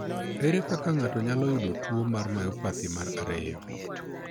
Ere kaka ng'ato nyalo yudo tuo mar myopathy mar 2?